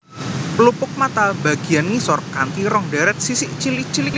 Pelupuk mata bagiyan ngisor kanti rong deret sisik cilik cilik